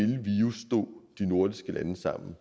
de nordiske lande sammen